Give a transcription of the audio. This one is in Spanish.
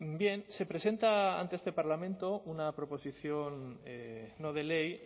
bien se presenta ante este parlamento una proposición no de ley